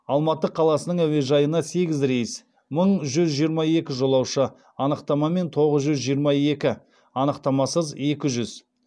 алматы қаласының әуежайына сегіз рейс мың жүз жиырма екі жолаушы анықтамамен тоғыз жүз жиырма екі анықтамасыз екі жүз